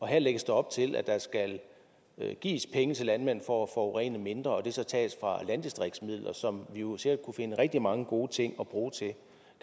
her lægges der op til at der skal gives penge til landmænd for at forurene mindre og at det så tages fra landdistriktsmidler som vi jo sikkert kunne finde rigtig mange gode ting at bruge til